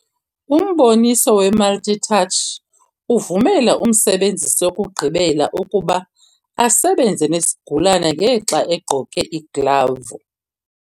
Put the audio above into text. Umboniso we-multi-touch uvumela umsebenzisi wokugqibela ukuba asebenze nesigulane ngexa egqoke iiglavu.